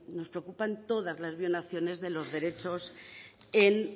nos preocupan todas las violaciones de los derechos en